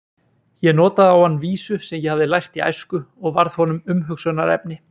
Ég notaði á hann vísu sem ég hafði lært í æsku og varð honum umhugsunarefni.